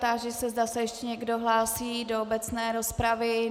Táži se, zda se ještě někdo hlásí do obecné rozpravy.